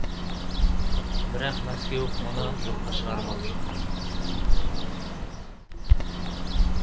бірақ мәскеу мұны жоққа шығарып отыр